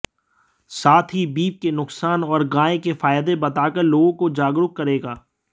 साथ ही बीफ के नुकसान और गाय के फायदे बताकर लोगों को जागरूक करेगा